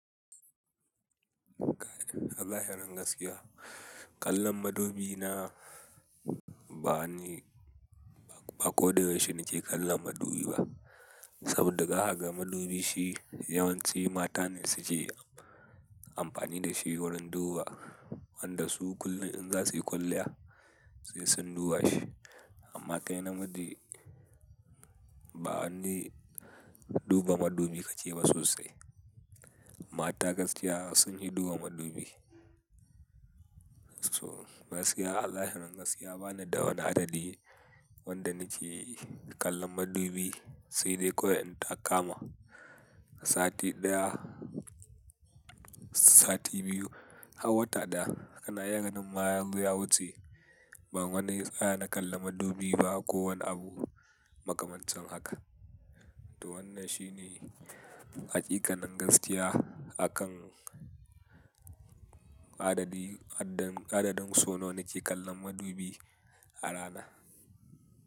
Ka, wallahi fadan gaskiya. Kallon madubi na ba ni, ba, ba ko da yaushe nake kallon madubi ba. Saboda zakaga madubi shi yawanci mata ne suke amfani da shi wurin duba. Wanda su kullum in za su yi kwalliya, sai sun duba shi. Amma kai na miji ba wani duba madubi kake ba sosai. Mata gaskiya sun fi duba madubi. So gaskiya Allah ya hanan gaskiya bana da wani adadi wanda nake kallon madubi sai dai kawai in ta kama sati ɗaya, sati biyu har wata ɗaya. Kana har ganin ma yazo ya wuce, ban wani tsaya na kalla madubi ba ko wani abu makamancin haka. To wannan shi ne haƙiƙanin gaskiya akan adadi, adadin, adadin sau nawa nake kallon madubi a rana.